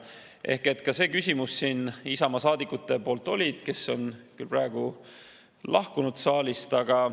Oli nimelt ka see küsimus Isamaa saadikutelt, kes on küll praegu saalist lahkunud.